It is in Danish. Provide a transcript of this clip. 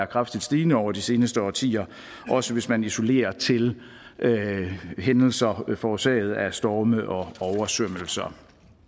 kraftigt stigende over de seneste årtier også hvis man isolerer til hændelser forårsaget af storme og oversvømmelser